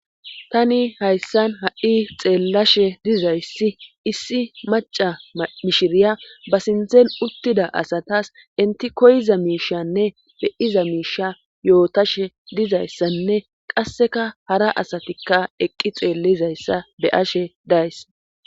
tani hayssan ha7i xeellashe dizayssi issi maca mishiriya ba sinthen uttida asatas inti koyiza miishanne beiza miisha yootashe dizayssanne qasseka hara asatikka eqqi xeellizayssa beyashe days